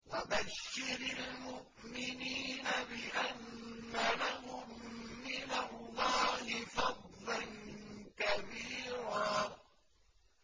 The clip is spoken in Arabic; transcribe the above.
وَبَشِّرِ الْمُؤْمِنِينَ بِأَنَّ لَهُم مِّنَ اللَّهِ فَضْلًا كَبِيرًا